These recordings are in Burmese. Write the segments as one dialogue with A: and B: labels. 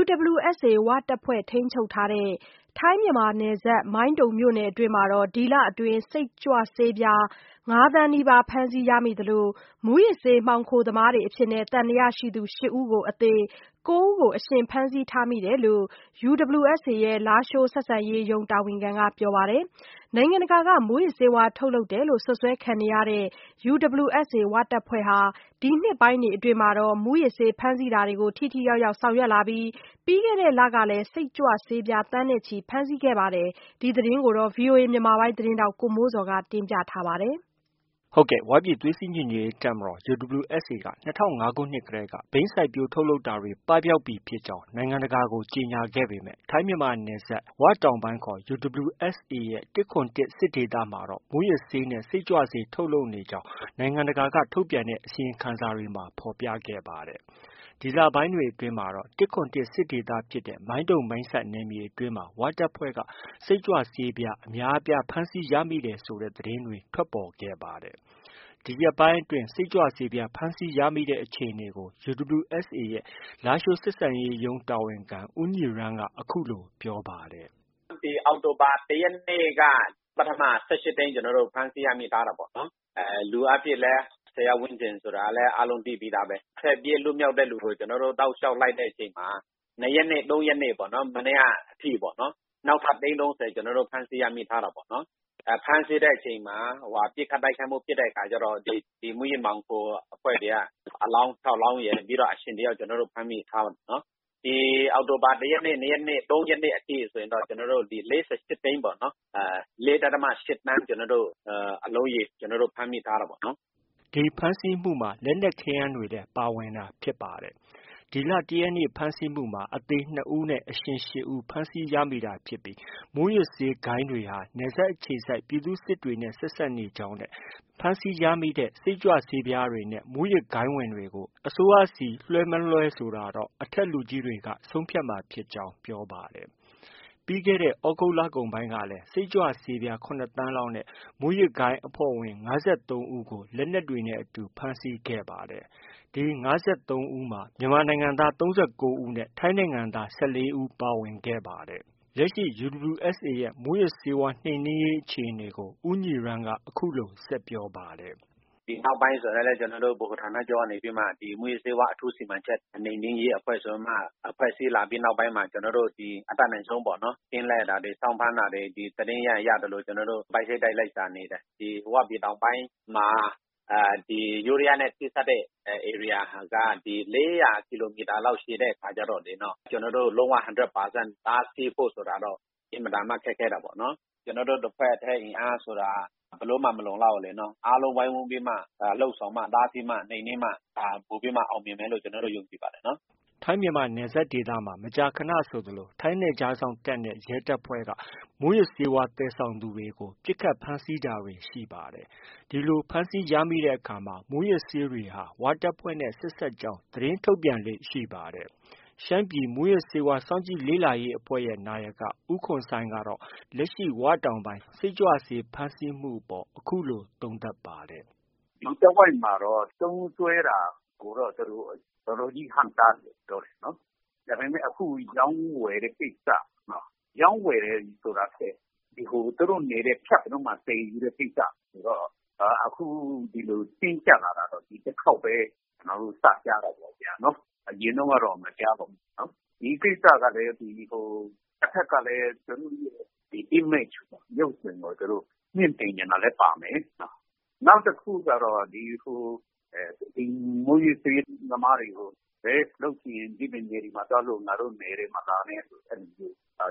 A: UWSA ဝတပ်ဖွဲ့ ထိန်းချုပ်ရာ ထိုင်း၊ မြန်မာနယ်စပ် မိုင်းတုံမြို့နယ်အတွင်းမှာ ဒီလအတွင်း စိတ်ကြွဆေးပြား ငါး သန်းနီးပါး ဖမ်းဆီးရမိသလို မူးယစ်ဆေး မှောင်ခိုသမားတွေအဖြစ် သံသယရှိသူ ရှစ် ဦးအသေနဲ့ ကိုး ဦးကို အရှင်ဖမ်းဆီးထားကြောင်း UWSA ရဲ့ လားရှိုးဆက်ဆံရေးရုံး တာဝန်ခံက ပြောပါတယ်။ နိုင်ငံတကာက မူးယစ်ဆေးဝါး ထုတ်လုပ်တယ်လို့ စွပ်စွဲခံနေရတဲ့ UWSA ဟာ ဒီနှစ်ပိုင်းတွေအတွင်းမှာ မူးယစ်ဆေး ဖမ်းဆီးတာတွေကို ထိထိရောက်ရောက် ဆောင်ရွက်လာပြီး ပြီးခဲ့တဲ့လတွေကလည်း စိတ်ကြွဆေးပြား သန်းနဲ့ချီ ဖမ်းဆီးခဲ့ပါတယ်။ ဒီသတင်းကို ဗွီအိုအေမြန်မာပိုင်းရဲ့ သတင်းထောက် ကိုမိုးဇော်က တင်ပြထားပါတယ်။ ဝပြည်သွေး စည်းညီညွတ်ရေး တပ်မတော် UWSA ဟာ ၂၀၀၅ ခုနှစ်တည်းကနေ ဘိန်း စိုက်ပျိုးထုတ်လုပ်တာတွေ ပပျောက်ပြီ ဖြစ်ကြောင်း နိုင်ငံတကာကို ကြေညာခဲ့ပေမဲ့ ထိုင်းမြန်မာနယ်စပ် ၀ တောင်ပိုင်းခေါ် UWSA ရဲ့ ၁၇၁ စစ်ဒေသမှာတော့ မူးယစ်ဆေးနဲ့ စိတ်ကြွဆေး ထုတ်လုပ်နေကြောင်း နိုင်ငံတကာက ထုတ်ပြန်တဲ့ အစီရင်ခံစာတွေမှာ ဖော်ပြခဲ့ပါတယ်။ ဒီလပိုင်းတွေအတွင်းမှာတော့ ၁၇၁ စစ်ဒေသဖြစ်တဲ့ မိုင်းတုံ၊ မိုင်းဆတ် နယ်မြေအတွင်းမှာ ဝတပ်ဖွဲ့ စိတ်ကြွဆေးပြား အများအပြားဖမ်းဆီးရမိတဲ့ သတင်းတွေ ထွက်ပေါ်လာခဲ့ပါတယ်။ ဒီရက်ပိုင်းအတွင်း စိတ်ကြွဆေးပြား ဖမ်းဆီးရမိတဲ့အခြေအနေကို UWSA ရဲ့ လားရှိုးဆက်ဆံရေးရုံးတာဝန်ခံ ဦးညီရန်းက အခုလို ပြောပါတယ်
B: ။ “အောက်တိုဘာ ၁ ရက်နေ့က ပထမ ၁၈ သိန်း ကျနော်တို့ ဖမ်းဆီးရမိထားတာပေါ့။ လူအားဖြင့်လည်း ၁၀ယောက်ဝန်းကျင်ဆိုတာ အားလုံးသိပြီးသားပဲ။ ထွက်ပြေးလွတ်မြောက်တဲ့သူကို ကျနော်တို့ တလျောက်လိုက်တဲ့အချိန်မှာ ၂ရက်နေ့၊ ၃ရက်နေ့ပေါ့နော်။ မနေ့က အထိ နောက်ထပ်သိန်း ၃၀ ကျနော်တို့ ဖမ်းဆီး ရမိထားတာပေါ့နော်။ ဖမ်းဆီးတဲ့အချိန်မှာ ပစ်ခတ်တိုက်ခိုက်မှု ဖြစ်တဲ့အခါကျတော့ ဒီမူးယစ်မှောင်ခိုအဖွဲ့တွေက အလောင်း ခြောက် လောင်းရယ်၊ ပြီးတော့ အရှင် တ ယောက်က ကျနော်တို့ ဖမ်းမိထားတယ်။ ဒီ အောက်တိုဘာ ၁ ရက်နေ့၊ ၂ ရက်နေ့၊ ၃ ရက်နေ့အထိ ဆိုရင်တော့ ၄၈ သိန်းပေါ့၊ ၄.၈သန်း အလုံးရေ ကျနော်တို့ ဖမ်းမိထားတာပေါ့။”
A: ဖမ်းဆီးမှုမှာ လက်နက်ခဲယမ်းတွေလည်း ပါဝင်တာဖြစ်ပါတယ်။ ၁ ရက်နေ့ ဖမ်းဆီးမှုမှာ အသေ နှစ် ဦးနဲ့ အရှင် ရှစ် ဦး ဖမ်းဆီးရမိတာဖြစ်ပြီး မူးယစ်ဆေးဂိုဏ်းတွေဟာ နယ်စပ်အခြေစိုက် ပြည်သူ့စစ်အဖွဲ့တွေနဲ့ ဆက်စပ်နေကြောင်းနဲ့ ဖမ်းဆီးရမိတဲ့ စိတ်ကြွဆေးတွေနဲ့ မူးယစ်ဂိုဏ်းဝင်တွေကို အစိုးရဆီလွဲှ၊ မလွဲဆိုတာ အထက်လူကြီးတွေက ဆုံးဖြတ်မှာဖြစ်ကြောင်း ပြောပါတယ်။ ပြီးခဲ့တဲ့ သြဂုတ်လကုန်ပိုင်းကလည်း စိတ်ကြွဆေးပြား ခုနစ် သန်းလောက်နဲ့ မူးယစ်ဂိုဏ်းအဖွဲ့ဝင် ၅၃ ဦး ဖမ်းဆီးခဲ့ပါတယ်။ ဒီ ၅၃ ဦးမှာ မြန်မာနိုင်ငံသား ၃၉ ဦးနဲ့ ထိုင်းနိုင်ငံသား ၁၄ ဦးတို့ ပါဝင်ပါတယ်။ လက်ရှိ UWSA ရဲ့ မူးယစ်ဆေးဝါး နှိမ်နင်းရေးအခြေအနေကိုလည်း ဦးညီရန်းက အခုလို ဆက်ပြောပါတယ်။
B: “ဒီနောက်ပိုင်းဆိုရင်လည်း ကျနော်တို့ ဗဟိုဌာနချုပ်ကနေပြီးမှ မူးယစ်ဆေးဝါး အထူးစီမံချက်၊ နှိပ်နင်းရေးအဖွဲ့ဆို ဖွဲ့စည်းလာပြီးတဲ့နောက်ပိုင်းမှာ ကျနော်တို့ အတတ်နိုင်ဆုံးပေါ့နော် ကင်းလှည့်တာတွေ၊ စောင့်ဖမ်းတာတွေ၊ သတင်းရရင် ရသလို ပိုက်စိတ်တိုက်လ ိုက်ရှာနေတယ်။ ဒီ ဝပြည်တောင်ပိုင်းမှာ ယိုးဒယားနဲ့ ထိစပ်တဲ့ ဧရိယာက ၄၀၀ ကီလိုမီတာလောက် ရှည်တဲ့အခါကျတော့လေ ကျနော်တို့ လုံး၀ hundred percent တားဆီးဖို့ ဆိုတာက အင်မတန်မှ ခက်ခဲတာပေါ့နော်။ ကျနော်တို့ တစ်ဖွဲ့တည်း အင်အားဆိုတာက ဘယ်လိုမှ မလုံလောက်ဘူးလေနော်။ အားလုံးဝိုင်းဝန်းပြီးမှ လုပ်ဆောင်မှ၊ တားဆီးမှ၊ နှိမ်နင်းမှ ပိုပြီးမှ အောင်မြင်မယ်လို့ ကျနော်တို့ ယုံကြည်ပါတယ်နော်။”
A: ထိုင်း၊ မြန်မာနယ်စပ်ဒေသမှာ မကြာခနဆိုသလို ထိုင်းနယ်ခြားစောင့်တပ်နဲ့ ရဲတပ်ဖွဲ့ဟာ မူးယစ်ဂိုဏ်းတွေကို ပစ်ခတ် ဖမ်းဆီးတာတွေ ရှိပါတယ်။ ဒီလို ဖမ်းဆီးရမိတဲ့အခါတွေမှာ မူးယစ်ဆေးတွေဟာ ဝတပ်ဖွဲ့နဲ့ ဆက်စပ်ကြောင်း သတင်းထုတ်ပြန်လေ့ရှိတာ ဖြစ်ပါတယ်။ ရှမ်းပြည် မူးယစ်ဆေးဝါး စောင့်ကြည့်လေ့လာရေးအဖွဲ့ရဲ့ နာယက ဦးခွန်ဆိုင်းကတော့ လက်ရှိ ၀ တောင်ပိုင်း စိတ်ကြွဆေး ဖမ်းဆီးမှုအပေါ် အခုလို သုံးသပ်ပါတယ်။
C: “ဒီတဝိုက်မှာတော့ သုံးစွဲတာကိုတော့ သူတို့ တော်တော်ကြီး ဟန့်တားတယ်လို့ ပြောတာပေါ့နော်။ ဒါပေမဲ့ အခု ရောင်း ဝယ်တဲ့ ကိစ္စ၊ ရောင်းဝယ်တယ်ဆိုတာထက် သူတို့နယ်ထဲ ဖြတ်ပြီးတော့ သယ်ယူတဲ့ ကိစ္စကိုတော့ အခုဒီလို တင်းကျပ်လာတာတော့ ဒီတစ်ခေါက်ပဲ ကျနော်တို့ စကြားတာပေါ့ဗျာနော်။ အရင်တုန်းကတော့ မကြားပါဘူးဗျာနော်။ ဒီကိစ္စကလည်း ဟို တဘက်ကလည်း image ရုပ်သွင်းကို မြှင့်တင်ချင်တာလည်း ပါမယ်။ နောက်တစ်ခုကတော့ ဒီ မူးယစ်ဆေးသမားတွေကို လုပ်ချင်ရင် ဒီပြင်နယ်တွေမှာ သွားလုပ် ငါတို့နယ်ထဲ မလာနဲ့ဆို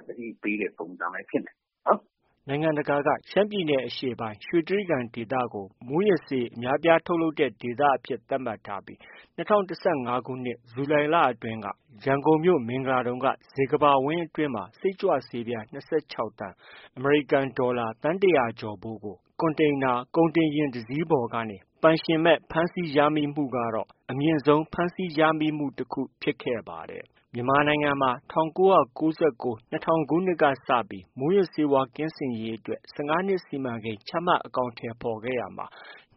C: သတိပေးတဲ့ပုံစံလည်း ဖြစ်နိုင်တယ
A: ်။” နိုင်ငံတကာက ရှမ်းပြည်နယ်အရှေ့ပိုင်း ရွှေတြိဂံဒေသကိုမူးယစ်ဆေး အများဆုံးထုတ်လုပ်တဲ့ ဒေသအဖြစ် သတ်မှတ်ထားပြီး၂၀၁၅ခုနှစ် ဇူလိုင်လအတွင်း ရန်ကုန်မြို့ မင်္ဂလာဒုံက ဇေကမ္ဘာဝင်းအတွင်း စိတ်ကြွဆေးပြား ၂၆ သန်း (အမေရိကန်ဒေါ်လာ သန်း ၁၀၀ကျော်ဖိုး) ကို ကွန်တိန်နာ ကုန်တင်ယာဉ် တစီးပေါ်ကနေ ပိုင်ရှင်မဲ့ ဖမ်းဆီးမှုကတော့ အမြင့်ဆုံး ဖမ်းဆီးရမိမှု တခု ဖြစ်ခဲ့ပါတယ်။ မြန်မာနိုင်ငံ မှာ ၁၉၉၉-၂၀၀၀ ခုနှစ်ကစပြီး မူးယစ်ဆေးဝါး ကင်းစင်ရေးအတွက် ၁၅ နှစ် စီမံကိန်း ချမှတ် အကောင်အထည်ဖော်ခဲ့ရာမှာ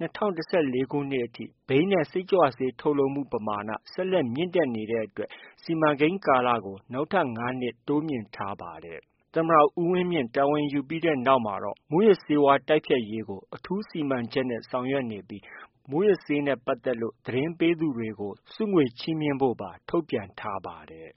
A: ၂၀၁၄ အထိ ဘိန်းနဲ့ စိတ်ကြွဆေး ထုတ်လုပ်မှု ပမာဏ ဆက်လက် မြင့်လာနေတဲ့အတွက် စီမံကိန်းကာလကို နောက်ထပ် ငါး နှစ် တိုးမြှင့်ထားရပါတယ်။ သမ္မတ ဦးဝင်းမြင့် တာဝန်ယူပြီးနောက်မှာတော့ မူးယစ်ဆေးဝါး တိုက်ဖျက်ရေးကို အထူးစီမံချက်နဲ့ ဆောင်ရွက်နေပြီး မူူးယစ်ဆေးနဲ့ပတ်သက်လို့ သတင်းပေးသူတွေကို ဆုငွေချီးမြှင့်ဖို့ပါ ထုတ်ပြန်ထားပါတယ်